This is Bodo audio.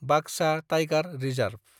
Baksa tiger reserve